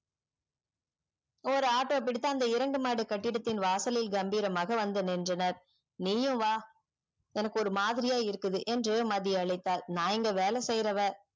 ஒரு auto பிடித்து இரண்டு மாடி கட்டிடத்தில் வாசலில் கம்பிரமாக வந்து நின்றன நீயும் வா எனக்கு ஒரே மாதிரியா இருக்குது என்று மதி அழைத்தால் நான் இங்கு வேலை செய்றவ